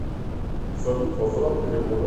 салют возврат перевода